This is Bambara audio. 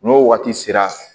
N'o waati sera